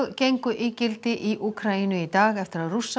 gengu í gildi í Úkraínu í dag eftir að Rússar